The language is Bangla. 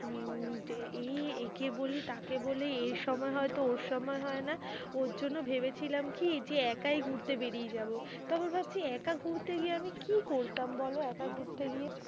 উম যে এই একে বলি তাকে বলি এর সময় হয় তো ওর সময় হয়না। ওর জন্য ভেবেছিলাম কি, যে একাই ঘুরতে বেরিয়ে যাবো। তারপর ভাবছি একা ঘুরতে গিয়ে আমি কি করতাম বলো, একা ঘুরতে গিয়ে।